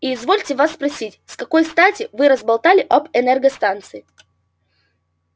и извольте вас спросить с какой стати вы разболтали об энергостанции